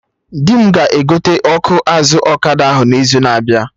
Di m ga-egote ọkụ azụ ọkada ahụ n'izu na abịa